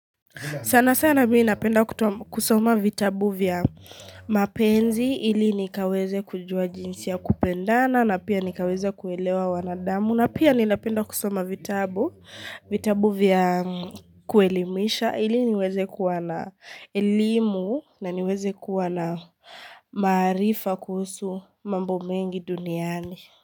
Sana sana mii napenda kusoma vitabu vya mapenzi ili nikaweze kujua jinsi ya kupendana na pia nikaweze kuelewa wanadamu na pia ninapenda kusoma vitabu vya kuelimisha ili niweze kuwa na elimu na niweze kuwa na maarifa kuhusu mambo mengi duniani.